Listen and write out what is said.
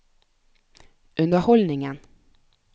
underholdningen